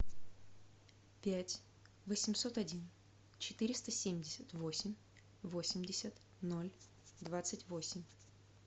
пять восемьсот один четыреста семьдесят восемь восемьдесят ноль двадцать восемь